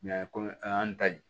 komi an y'an ta di